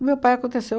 O meu pai aconteceu.